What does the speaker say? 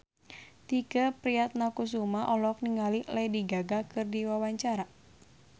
Tike Priatnakusuma olohok ningali Lady Gaga keur diwawancara